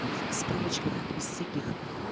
в справочках из всяких